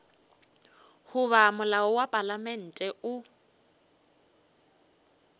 goba molao wa palamente o